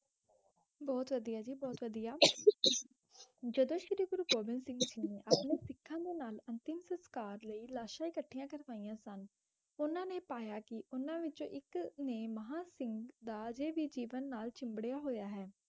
ਬਹੁਤ ਵਧੀਆ ਜੀ ਬਹੁਤ ਵਧੀਆ ਜਦੋਂ ਸ਼੍ਰੀ ਗੁਰੂ ਗੋਬਿੰਦ ਸਿੰਘ ਜੀ ਨੇ ਆਪਣੇ ਸਿੱਖਾਂ ਦੇ ਨਾਲ ਅੰਤਿਮ ਸੰਸਕਾਰ ਲਈ ਲਾਸ਼ਾਂ ਇਕੱਠੀਆਂ ਕਰਵਾਈਆਂ ਸਨ, ਉਨ੍ਹਾਂ ਨੇ ਪਾਇਆ ਕਿ ਉਨ੍ਹਾਂ ਵਿੱਚੋਂ ਇੱਕ ਨੇ ਮਹਾਂ ਸਿੰਘ ਦਾ ਅਜੇ ਵੀ ਜੀਵਨ ਨਾਲ ਚਿੰਬੜਿਆ ਹੋਇਆ ਹੈ,